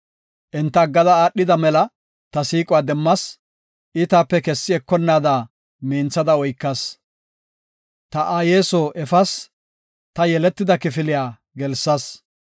Enta aggada aadhida mela ta siiquwa demmas; I taape kessi ekonnaada minthada oykas. Ta aaye soo efas; ta yeletida kifiliya gelsas.